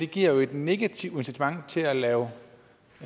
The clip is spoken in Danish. giver et negativt incitament til at lave